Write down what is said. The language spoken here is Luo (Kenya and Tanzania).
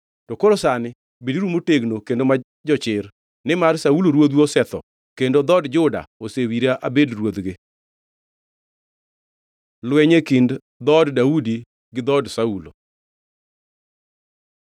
To koro sani beduru motegno kendo ma jochir, nimar Saulo ruodhu osetho, kendo dhood Juda osewira abed ruodhgi.” Lweny e kind dhood Daudi gi dhood Saulo